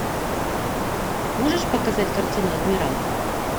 можешь показать картину адмирал